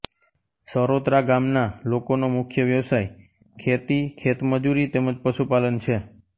સરોત્રા ગામના લોકોનો મુખ્ય વ્યવસાય ખેતી ખેતમજૂરી તેમ જ પશુપાલન છે